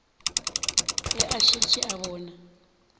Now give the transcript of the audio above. ge a šetše a bone